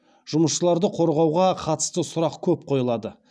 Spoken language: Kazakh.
жұмысшыларды қорғауға қатысты сұрақ көп қойылады